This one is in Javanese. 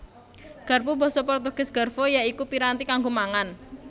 Garpu Basa Portugis Garfo ya iku piranti kanggo mangan